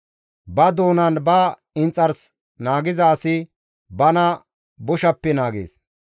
Ba doonanne ba inxars naagiza asi bana boshappe naagees.